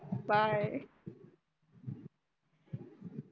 bye